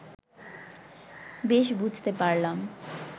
বেশ বুঝতে পারলাম